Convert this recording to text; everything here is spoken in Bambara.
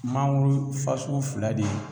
Mangoro fasugu fila de ye